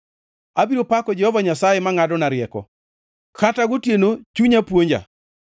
Abiro pako Jehova Nyasaye mangʼadona rieko; kata gotieno chunya puonja.